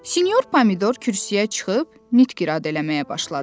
Senor Pomidor kürsüyə çıxıb nitq irad eləməyə başladı.